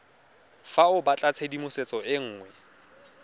fa o batlatshedimosetso e nngwe